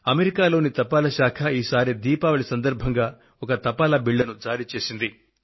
America లోని తపాలా శాఖ ఈసారి దీపావళి సందర్భంగా ఒక తపాలా బిళ్లను జారీ చేసింది